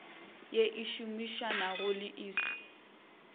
ye e šomišanago le iss